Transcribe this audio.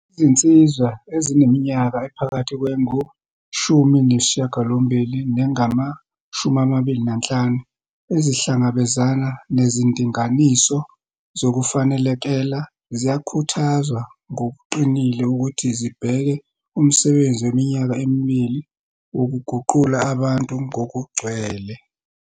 Izinsizwa ezineminyaka ephakathi kwengushumi nesishagalombili nengamashumi amabili nanhlanu ezihlangabezana nezindinganiso zokufanelekela ziyakhuthazwa ngokuqinile ukuthi zibheke umsebenzi weminyaka emibili, wokuguqula abantu ngokugcwele.